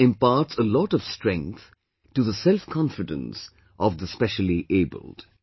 This imparts a lot of strength to the selfconfidence of the speciallyabled